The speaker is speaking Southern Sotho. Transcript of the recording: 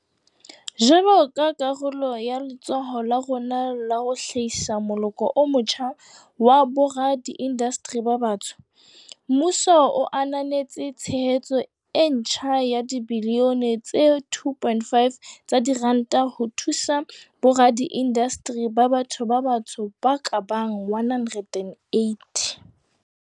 Jwalo ka karolo ya letsholo la rona la ho hlahisa moloko o motjha wa boradiindasteri ba batsho, mmuso o ananetse tshehetso e ntjha ya dibilione tse 2.5 tsa diranta ho thusa boradiindasteri ba batho ba batsho ba ka bang 180.